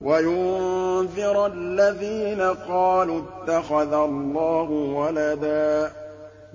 وَيُنذِرَ الَّذِينَ قَالُوا اتَّخَذَ اللَّهُ وَلَدًا